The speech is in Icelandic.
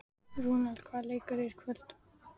Rúnel, hvaða leikir eru í kvöld?